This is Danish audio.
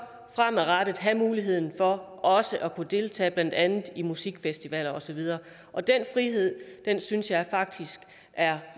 fremadrettet have muligheden for også at kunne deltage blandt andet i musikfestivaler og så videre den frihed synes jeg faktisk er